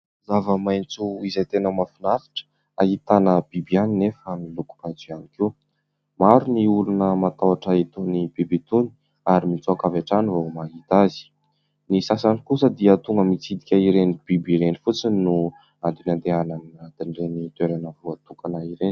Zava-maitso izay tena mahafinaritra, ahitana biby ihany nefa amin'ny lokom-maitso ihany koa. Maro ny olona matahotra itony biby itony ary mitsoaka avy hatrany vao mahita azy. Ny sasany kosa dia tonga mitsidika ireny biby ireny fotsiny no antony andehanana eny anatin'ireny toerana voatokana ireny.